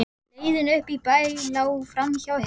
Leiðin upp í bæ lá framhjá Hernum.